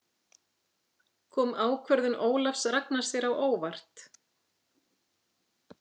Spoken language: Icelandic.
Kom ákvörðun Ólafs Ragnars þér á óvart?